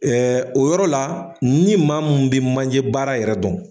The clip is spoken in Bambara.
o yɔrɔ la ni maa mun bɛ manje baara yɛrɛ dɔn.